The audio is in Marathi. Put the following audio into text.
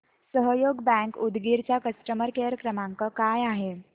सहयोग बँक उदगीर चा कस्टमर केअर क्रमांक काय आहे